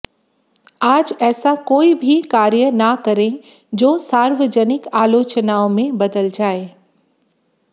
आज ऐसा कोई भी कार्य ना करें जो सार्वजनिक आलोचनाओं में बदल जाए